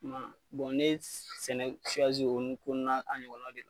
ne ye sɛnɛ o ɲɔgɔnna de la.